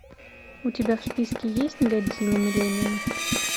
у тебя в списке есть годзилла миллениум